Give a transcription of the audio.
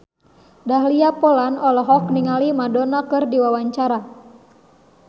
Dahlia Poland olohok ningali Madonna keur diwawancara